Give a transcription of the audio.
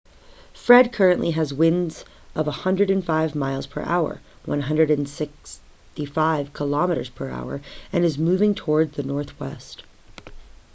fred currently has winds of 105 miles per hour 165 km/h and is moving towards the northwest